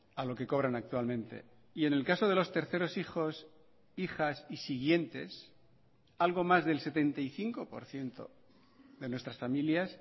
a lo que cobran actualmente y en el caso de los terceros hijos hijas y siguientes algo más del setenta y cinco por ciento de nuestras familias